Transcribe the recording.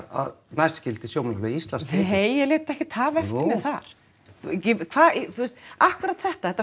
að næst skyldi Sjómannafélag Íslands tekið nei ég lét ekkert hafa eftir mér þar akkúrat þetta þetta